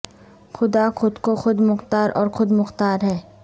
خدا خود کو خود مختار اور خود مختار ہے